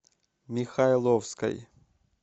михайловской